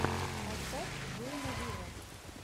поставь зейна виво